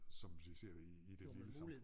Som vi ser det i i det lille samfund